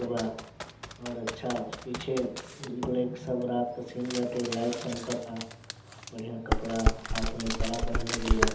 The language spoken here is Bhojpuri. बा और अच्छा पीछे लोग सब रात का सीन बाटे लाइट चमकता बढ़िया कपड़ा हाथ मे कड़ा पहनले बीया।